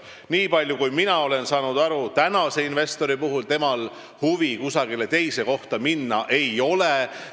Nii palju kui mina aru saan, sellel investoril huvi kusagile teise kohta minna ei ole.